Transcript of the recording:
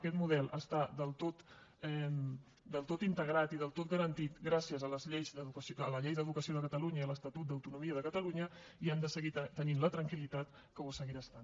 aquest model està del tot integrat i del tot garantit gràcies a la llei d’educació de catalunya i a l’estatut d’autonomia de catalunya i han de seguir tenint la tranquil·litat que ho seguirà estant